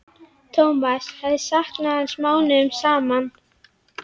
Thomas hafði saknað hans mánuðum saman.